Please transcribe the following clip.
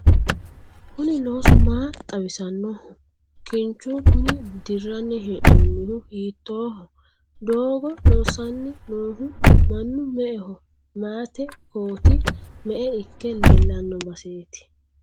kuni loosu maa xawisannoho? kinchu kuni dirranni hee'noonihu hiittooho? doogo loosanni noohu mannu me"eho? mayeete kooti me"e ikke leellanno baseeti?